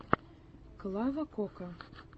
клава кока